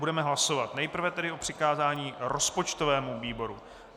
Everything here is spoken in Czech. Budeme hlasovat, nejprve tedy o přikázání rozpočtovému výboru.